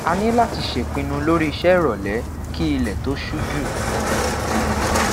a ni lati ṣepinu lori iṣe irolẹ ki ilẹ to ṣu ju